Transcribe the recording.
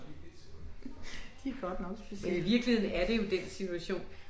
Det er godt nok specielt